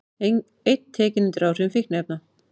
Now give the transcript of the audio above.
Einn tekinn undir áhrifum fíkniefna